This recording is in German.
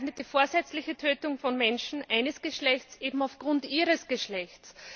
Er bezeichnet die vorsätzliche Tötung von Menschen eines Geschlechts eben aufgrund ihres Geschlechts.